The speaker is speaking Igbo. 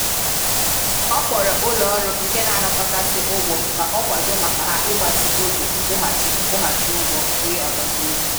Ọ kpọrọ ụlọ ọrụ nke n'anakotasị ugwọ ka ọ kwado maka ha ịgbatị oge nkwughachị nkwughachị ụgwọ onye agbata obi.